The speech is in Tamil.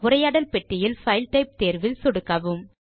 உரையாடல் பெட்டியில் பைல் டைப் தேர்வில் சொடுக்கவும்